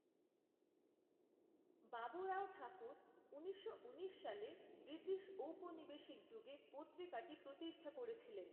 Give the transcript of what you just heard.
বাবুরাও ঠাকুর ঊনিশশো ঊনিশ সালে ব্রিটিশ ঔপনিবেশিক যুগে পত্রিকাটি প্রতিষ্ঠা করেছিলেন।